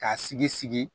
K'a sigi sigi